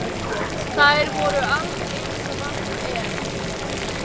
Þær voru alveg eins og vant er.